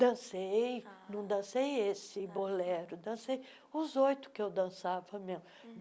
Dancei, ah não dancei esse bolero, dancei os oito que eu dançava mesmo.